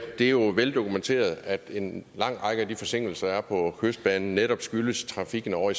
det er jo veldokumenteret at en lang række af de forsinkelser der er på kystbanen netop skyldes trafikken ovre